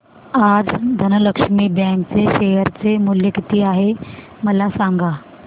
आज धनलक्ष्मी बँक चे शेअर चे मूल्य किती आहे मला सांगा